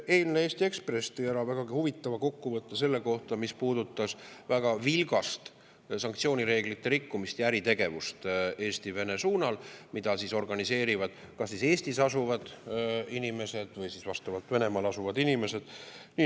Eilne Eesti Ekspress tõi ära vägagi huvitava kokkuvõtte selle kohta, mis puudutas väga vilgast sanktsioonireeglite rikkumist ja äritegevust Eesti-Vene suunal, mida organiseerivad kas Eestis asuvad inimesed või siis Venemaal asuvad inimesed.